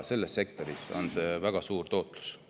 Selles sektoris on see väga suur tootlus.